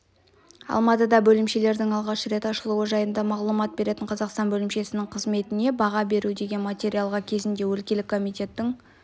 алматыда бөлімшесінің алғаш рет ашылуы жайында мағлұмат беретін қазақстан бөлімшесінің қызметіне баға беру деген материалға кезінде өлкелік комитетінің